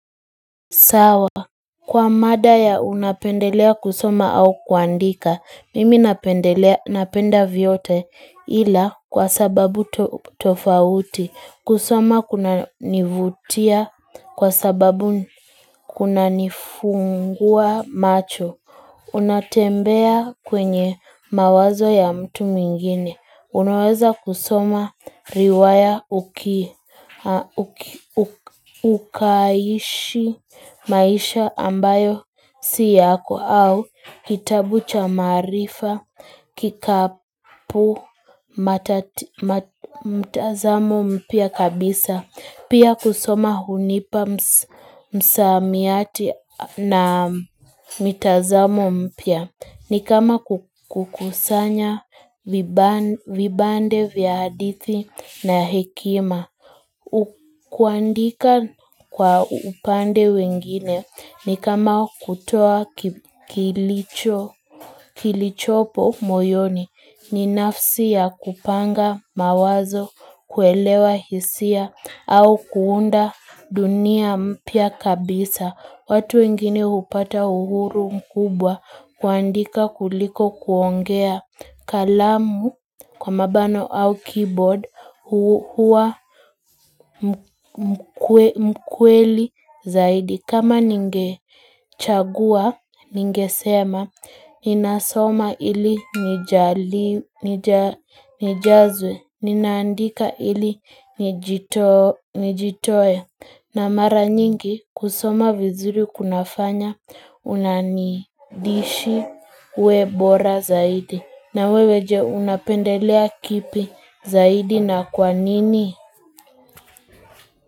Sawa kwa mada ya unapendelea kusoma au kuandika mimi napendelea napenda vyote ila kwa sababu tofauti kusoma kuna nivutia kwa sababu kuna nifungua macho Unatembea kwenye mawazo ya mtu mwingine. Unaweza kusoma riwaya ukaishi maisha ambayo siyako au kitabucha marifa, kikapu, mtazamo mpia kabisa. Pia kusoma hunipa msamiati na mitazamo mpya ni kama kukusanya vibande vyadithi na hekima. Kuandika kwa upande wengine ni kama kutoa kilichopo moyoni ni nafsi ya kupanga mawazo, kuelewa hisia au kuunda dunia mpia kabisa watu wengine hupata uhuru mkubwa kuandika kuliko kuongea kalamu kwa mabano au keyboard huwa mkweli zaidi kama ningechagua, ninge sema Ninasoma ili nijazwe ninandika ili nijitoa na mara nyingi kusoma vizuri kunafanya Unanidishi webora zaidi na weweje unapendelea kipi zaidi na kwa nini?